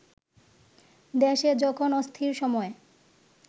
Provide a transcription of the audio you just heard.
দেশে যখন অস্থির সময়